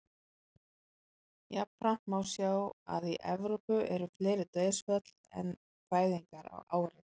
Jafnframt má sjá að í Evrópu eru fleiri dauðsföll en fæðingar á ári.